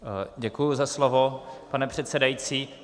Děkuji za slovo, pane předsedající.